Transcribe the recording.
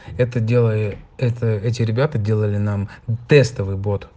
это делает это эти ребята делали нам тестовый бот